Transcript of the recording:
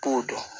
Po dun